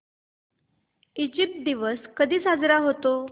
Egypt दिवस कधी साजरा होतो